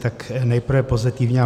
Tak nejprve pozitivní.